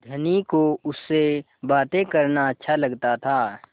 धनी को उससे बातें करना अच्छा लगता था